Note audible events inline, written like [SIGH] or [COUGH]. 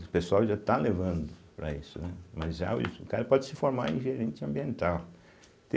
O pessoal já está levando para isso, né, mas [UNINTELLIGIBLE] o cara pode se formar em gerente ambiental.